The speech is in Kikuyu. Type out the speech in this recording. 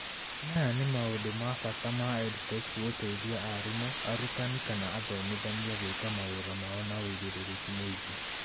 Maya nĩ maũndũ ma bata ma EdTech gũteithia arimũ arutani kana athomithania gwĩka mawĩra mao na wĩĩgĩrĩrĩki mwĩngĩ.